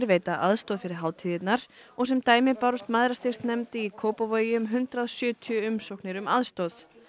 veita aðstoð fyrir hátíðirnar og sem dæmi bárust Mæðrastyrksnefnd í Kópavogi um hundrað og sjötíu umsóknir um aðstoð